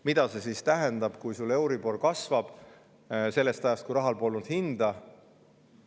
Mida see tähendab, kui euribor kasvab sellest ajast, kui rahal polnud hinda?